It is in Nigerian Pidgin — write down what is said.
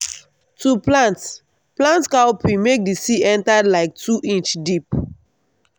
to plant plant cowpea make d seed enter like two inch deep.